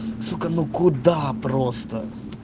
сука ну куда просто